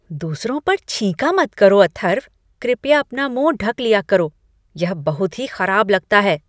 दूसरों पर छींका मत करो, अथर्व। कृपया अपना मुंह ढक लिया करो। यह बहुत ही खराब लगता है।